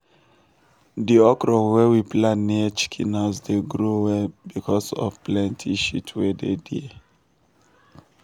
di okra wey we plant near chicken house dey grow well because of the plenty shit wey dey there.